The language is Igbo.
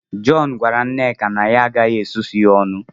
John gwara nneka na ya agaghị susuo ya ọnụ